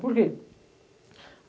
Por quê?